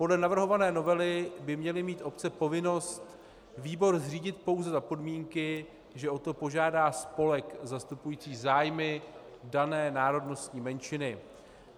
Podle navrhované novely by měly mít obce povinnost výbor zřídit pouze za podmínky, že o to požádá spolek zastupující zájmy dané národnostní menšiny.